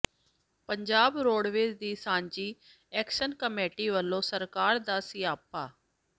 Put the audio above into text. Punjab roadways ਦੀ ਸਾਂਝੀ action committee ਵੱਲੋਂ ਸਰਕਾਰ ਦਾ ਸਿਆਪਾ